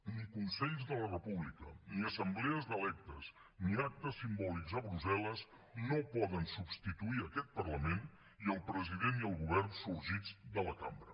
ni consells de la república ni assemblees d’electes ni actes simbòlics a brussel·les no poden substituir aquest parlament i el president i el govern sorgits de la cambra